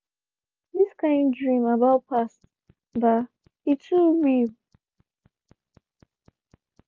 this kind dream about past ba e too real.